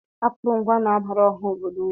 Akụrụngwa na-abara ọha obodo uru.